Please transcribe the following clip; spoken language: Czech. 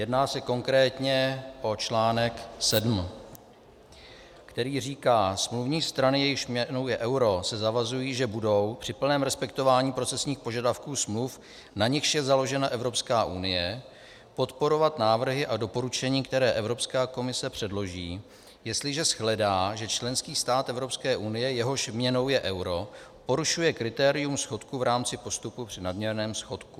Jedná se konkrétně o článek 7, který říká: Smluvní strany, jejichž měnou je euro, se zavazují, že budou při plném respektování procesních požadavků smluv, na nichž je založena Evropská unie, podporovat návrhy a doporučení, které Evropská komise předloží, jestliže shledá, že členský stát Evropské unie, jehož měnou je euro, porušuje kritérium schodku v rámci postupu při nadměrném schodku.